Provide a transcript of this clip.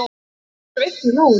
Ég er sveitt í lófanum.